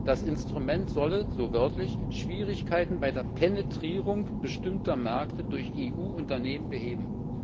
Das Instrument solle, so wörtlich, Schwierigkeiten bei der Penetrierung bestimmter Märkte durch EU Unternehmen beheben.